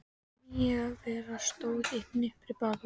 Þessi nýja vera stóð í hnipri bakvið